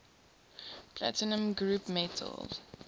platinum group metals